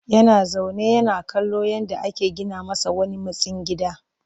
Yana zaune yana kallon yadda ake gina masa wani mitstsin gida